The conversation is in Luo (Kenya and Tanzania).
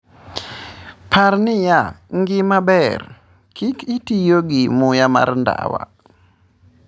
"Par niya, ngima ber - kik itiyo gi muya mar ndawa."